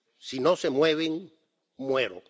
Si no se mueven, muero.